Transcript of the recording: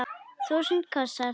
Þúsund kossar.